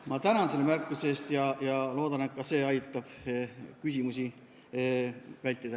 Ma tänan selle märkuse eest ja loodan, et see aitab küsimusi vältida.